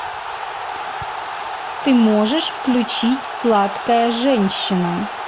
ты можешь включить сладкая женщина